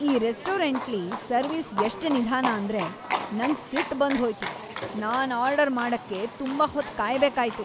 ಈ ರೆಸ್ಟೋರೆಂಟ್ಲಿ ಸರ್ವಿಸ್ ಎಷ್ಟ್ ನಿದಾನ ಅಂದ್ರೆ ನಂಗ್ ಸಿಟ್ ಬಂದ್ ಹೋಯ್ತು. ನಾನ್ ಆರ್ಡರ್ ಮಾಡಕ್ಕೆ ತುಂಬಾ ಹೊತ್ ಕಾಯ್ಬೇಕಾಯ್ತು !